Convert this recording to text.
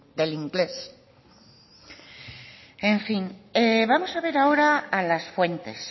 del inglés en fin vamos a ver ahora a las fuentes